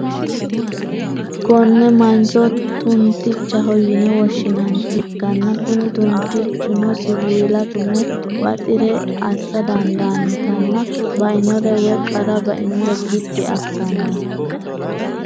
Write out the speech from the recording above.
Konne mancho tuntichaho yine woshinaniha ikkana kuni tuntichino siwiila tume baxire asa dandaanota nna bainore woyi qara bainore bidi asanoho.